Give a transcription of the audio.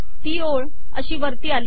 ती ओळ अशी वरती आली